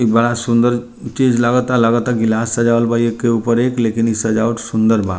एक बड़ा सुन्दर चीज़ लगा ता लगा ता गिलास सजावल बा एक के ऊपर एक लेकिन इ सजावट सुन्दर बा।